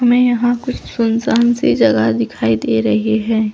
मे यहाँ कुछ सुनसान सी जगह दिखाई दे रही है।